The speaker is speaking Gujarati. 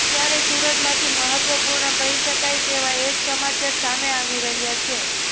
ત્યારે સુરતમાંથી મહત્વપૂર્ણ કહી શકાય તેવા એક સમાચાર સામે આવી રહ્યા છે